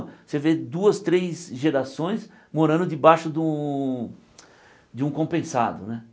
Você vê duas, três gerações morando debaixo de um de um compensado né.